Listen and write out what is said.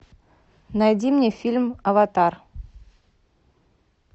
найди мне фильм аватар